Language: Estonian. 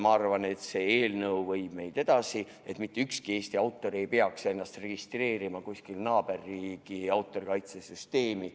Ma arvan, et see eelnõu viib meid edasi ja mitte ükski Eesti autor ei pea enam edaspidi ennast registreerima kuskil naaberriigi autorikaitse süsteemis.